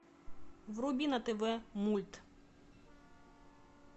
вруби на тв мульт